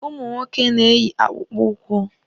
Ụmụ nwoke na-eyi akpụkpụ ụkwụ.